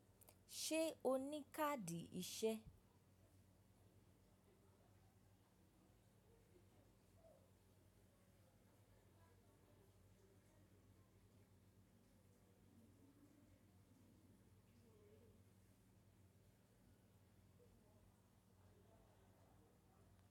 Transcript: Ṣe o ni kaadi iṣẹ?